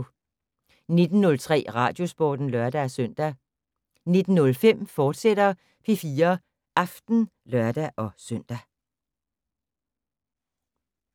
19:03: Radiosporten (lør-søn) 19:05: P4 Aften, fortsat (lør-søn)